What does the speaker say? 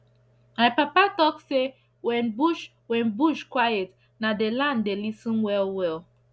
my papa talk say when bush when bush quiet na the land dey lis ten well well